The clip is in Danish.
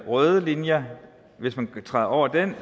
røde linjer hvis man træder over den